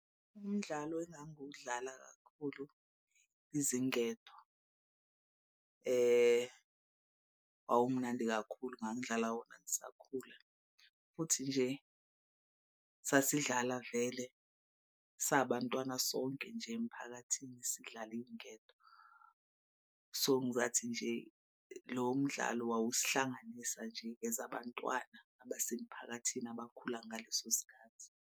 Umdlalo engangiwudlala kakhulu izingedo. Wawumnandi kakhulu ngangidlala wona ngisakhula futhi nje sasidlala vele sabantwana sonke nje emphakathini sidlala iy'ngedo. So ngizathi nje lowo mdlalo wawusihlanganisa nje as abantwana abasemphakathini abakhula ngaleso sikhathi.